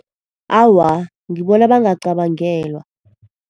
Awa, ngibona bangacabangelwa.